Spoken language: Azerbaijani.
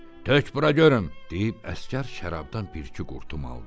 "Tök bura görüm," deyib əsgər şərabdan bir-iki qurtum aldı.